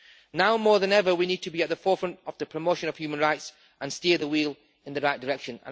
Now, more than ever, we need to be at the forefront of the promotion of human rights and steer the wheel in the right direction.